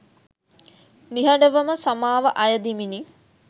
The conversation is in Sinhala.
නිහඬවම සමාව අයදිමිනි.